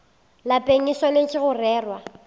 lapeng e swanetše go rerwa